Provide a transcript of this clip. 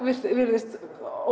virðist